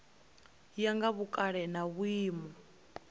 ya nga vhukale na vhuimo